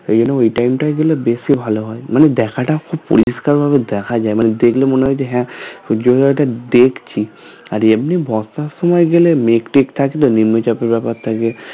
ঐজন্য ওই time টায় গেলে বেশি ভালো হয় মানে দেখতে খুব পরিষ্কার ভাবে দেখা যায় মানে দেখলে মনে হবে যে হ্যাঁ দেখছি আর একদিন বর্ষার সময় গেলে মেঘ টেঘ থাকেতো নিম্নচাপের ব্যাপার থাকে